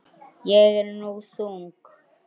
Ég er nú þung.